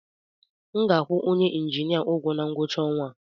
M ga-akwụ onye injinia ụgwọ na ngwụcha ọnwa a